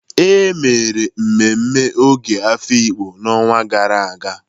E mere mmemme Ogo Afikpo n'ọnwa gara aga.